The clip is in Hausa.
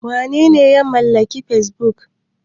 Wanene ya mallaki Fesbuk?